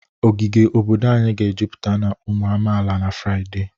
Ogige obodo anyị ga-ejupụta na ụmụ amaala na Fraịde